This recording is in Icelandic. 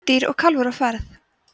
kvendýr og kálfur á ferð